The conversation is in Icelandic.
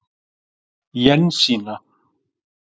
Jensína